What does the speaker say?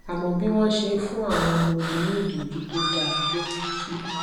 àmó bí wón ṣe ń fún àwọn ọmọ ogun ní ìtójú tó dáa ló mú kí